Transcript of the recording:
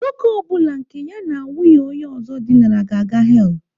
Nwoke ọ bụla nke ya na nwunye onye ọzọ dinara ga-aga hell.